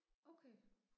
Okay